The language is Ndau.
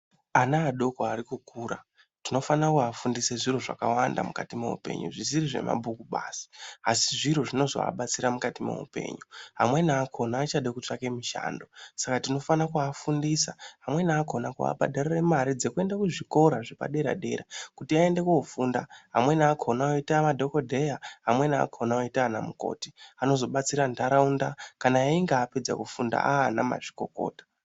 Ana adoko arikukura tinofana kuvafundise zviro zvakawanda mukati moupenyu zvisiri zvemabhuku basi. Asi zviro zvinozoabatsira mukati meupenyu. Amweni akona achade kutsvake mushando. Saka tinofana kuafundisa, amweni akona kuabhadharira mare dzekuende kuzvikora zvepadera-dera, kuti aende koofunda. Amweni akona oita madhogodheya amweni akona oita anamukoti, anozobatsira ntaraunda kana einga apedza kufunda aa ana mazvikokota.